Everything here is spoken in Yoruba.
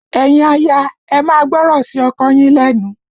Ẹ̀yin aya, ẹ máa gbọ́rọ̀ sí ọkọ yín lẹ́nu!